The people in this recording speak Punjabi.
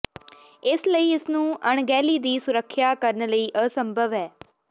ਇਸ ਲਈ ਇਸ ਨੂੰ ਅਣਗਹਿਲੀ ਦੀ ਸੁਰੱਖਿਆ ਕਰਨ ਲਈ ਅਸੰਭਵ ਹੈ